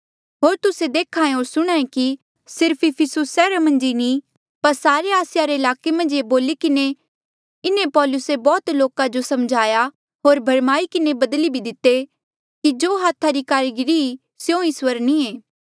होर तुस्से देख्हा होर सुणहां ऐें कि सिर्फ इफिसुस सैहरा मन्झ नी पर सारे आसिया रे ईलाके मन्झ ये बोली किन्हें इन्हें पौलुसे बौह्त लोका जो समझाया होर भरमाई किन्हें बदली भी दिते कि जो हाथा री कारीगरी ई स्यों इस्वर नी ऐें